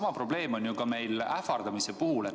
Sama probleem on ka ähvardamise puhul.